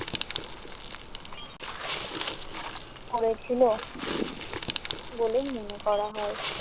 পরেছিল বলে মনে করা হয়।